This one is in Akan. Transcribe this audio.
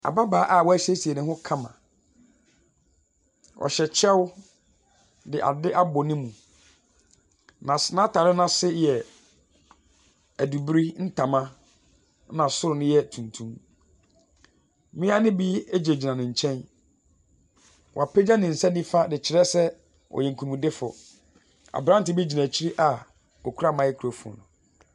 Ababaawa a wasiesie ne ho kama, ɔhyɛ kyɛw de ade abɔ ne mu. Nas n'atare no ase no yɛ adubiri ntama na soro no yɛ tuntum. Mmea no bi gyinagyina ne nkyɛn. Wapagya ne nsa nifa de rekyerɛ sɛ ɔyɛ nkunimdifo. Aberante bi gyina akyi hɔ ɔkura microphone.